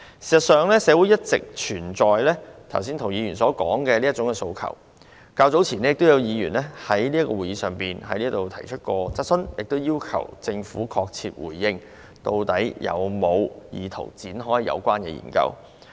事實上，社會上一直存在涂議員剛才所說的這種訴求，較早前亦有議員在會議上提出質詢，要求政府確切回應，究竟有否意圖展開有關的研究。